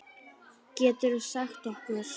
Geturðu sagt okkur?